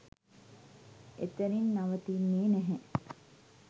එතනින් නවතින්නෙ නැහැ.